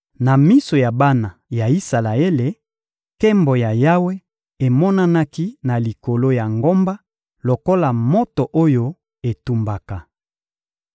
Na miso ya bana ya Isalaele, Nkembo ya Yawe emonanaki na likolo ya ngomba lokola moto oyo etumbaka.